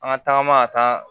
An ka tagama ka taa